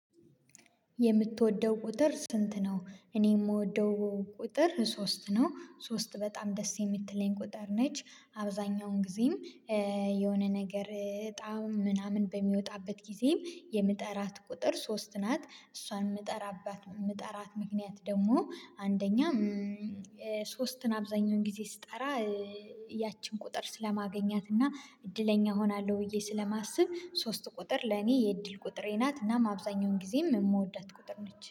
የምትወደው ቁጥር ስንት ነው? እኔ የምወደው ቁጥር ሶስት ነው። ሶስት በጣም ደስ የምትለኝ ቁጥር ነች። አብዛኛውን ጊዜም የሆነ ነገር እጣም ምናምን በሚወጣበት ጊዜም የምጠራት ቁጥር ሶስት ናት። እሷን የምጠራባት የምጠራት ምክንያት ደግሞ አንደኛ ሶስትን አብዛኛውን ጊዜ ስጠራ ያቺን ቁጥር ስለማገኛት እና እድለኛ እሆናለሁ ብዬ ስለማስብ ሶስት ቁጥር ለኔ የእድል ቁጥሬ ናት። እና አብዛኛውን ጊዜም የምወዳት ቁጥር ነች